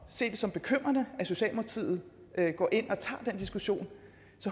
se det som bekymrende at socialdemokratiet går ind og tager den diskussion